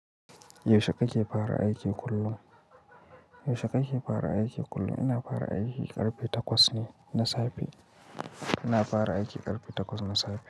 Yaushe kake fara aiki kullum? Yaushe kake fara aiki kullum? Ina fara aiki karfe takwas ne na safe. Ina fara aiki karfe takwas na safe.